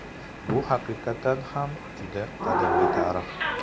Bu haqiqatan ham, juda qadimgi tarix.